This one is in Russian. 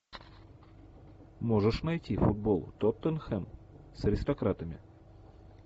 можешь найти футбол тоттенхэм с аристократами